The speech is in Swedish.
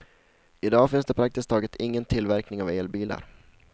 I dag finns det praktiskt taget ingen tillverkning av elbilar.